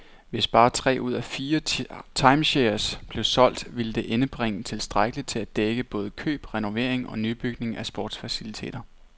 Hvis bare tre ud af fire timeshares blev solgt, ville det indbringe tilstrækkeligt til at dække både køb, renovering og nybygning af sportsfaciliteter.